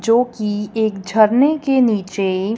जो कि एक झरने के नीचे--